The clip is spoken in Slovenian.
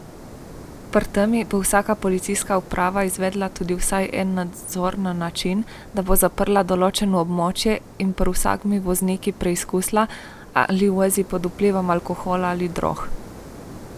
Pri tem bo vsaka policijska uprava izvedla tudi vsaj en nadzor na način, da bo zaprla določeno območje in pri vsakem vozniku preizkusila, ali vozi pod vplivom alkohola ali drog.